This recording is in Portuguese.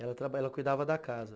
Ela cuidava da casa